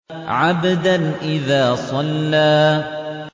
عَبْدًا إِذَا صَلَّىٰ